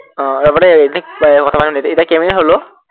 আহ ৰবা দেই এতিয়া বৰ্তমান সুধিছো, এতিয়া কেইমিনিট হল অ